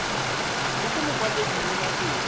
mo go mokwaledi mo nageng